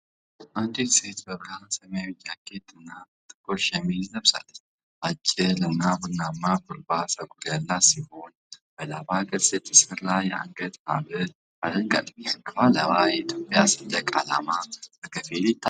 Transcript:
አንዲት ሴት በብርሃን ሰማያዊ ጃኬት እና ጥቁር ሸሚዝ ለብሳለች። አጭርና ቡናማ ኩርባ ፀጉር ያላት ሲሆን፣ በላባ ቅርጽ የተሠራ የአንገት ሐብል አድርጋለች። ከኋላዋ የኢትዮጵያ ሰንደቅ ዓላማ በከፊል ይታያል።